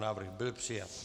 Návrh byl přijat.